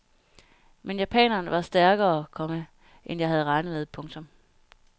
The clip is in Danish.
Men japaneren var stærkere, komma end jeg havde regnet med. punktum